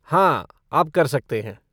हाँ, आप कर सकते हैं।